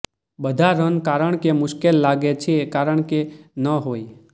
બધા રન કારણ કે મુશ્કેલ લાગે છે કારણ કે ન હોય